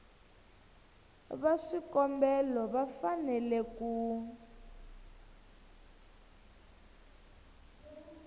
va swikombelo va fanele ku